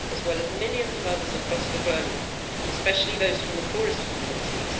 as well as millions of others across the globe, especially those from the poorest communities.